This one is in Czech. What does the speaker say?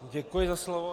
Děkuji za slovo.